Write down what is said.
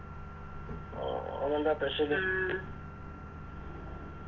ഉം ഇന്നെന്താ Special